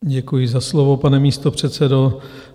Děkuji za slovo, pane místopředsedo.